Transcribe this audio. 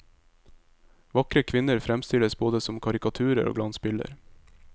Vakre kvinner fremstilles både som karikaturer og glansbilder.